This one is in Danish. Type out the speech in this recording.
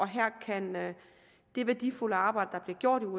her kan det værdifulde arbejde der bliver gjort